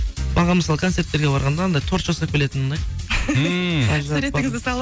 маған мысалы концерттерге барғанда анандай торт жасап келетіні ұнайды ммм суретіңізді салып